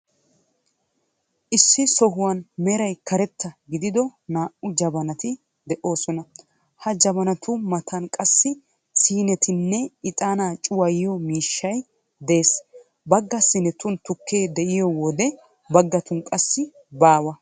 Issi sohuwan meray karetta gidido naa''u jabanati de''oosona. Ha jabanatu matan qassi siinetinne ixaanaa cuwayiyo miishshay de''ees. Bagga siinetun tukkee de'iyowode baggatun qassi baawa.